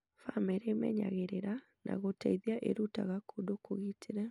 Bamĩrĩ ĩmenyagĩrĩra na gũteithia ĩrutaga kũndũ kũgitĩre